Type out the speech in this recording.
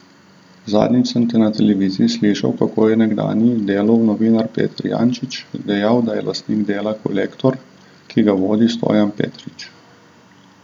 Zadnjič sem na televiziji slišal, kako je nekdanji Delov novinar Peter Jančič dejal, da je lastnik Dela Kolektor, ki ga vodi Stojan Petrič.